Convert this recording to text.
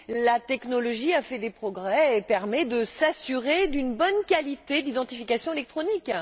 la technologie a fait des progrès et permet de garantir si la bonne qualité de l'identification électronique.